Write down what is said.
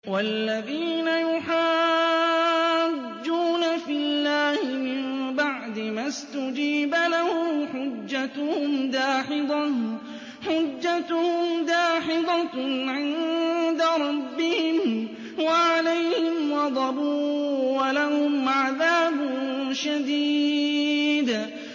وَالَّذِينَ يُحَاجُّونَ فِي اللَّهِ مِن بَعْدِ مَا اسْتُجِيبَ لَهُ حُجَّتُهُمْ دَاحِضَةٌ عِندَ رَبِّهِمْ وَعَلَيْهِمْ غَضَبٌ وَلَهُمْ عَذَابٌ شَدِيدٌ